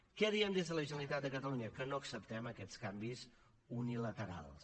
què diem des de la generalitat de catalunya que no acceptem aquests canvis unilaterals